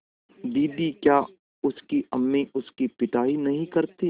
दीदी क्या उसकी अम्मी उसकी पिटाई नहीं करतीं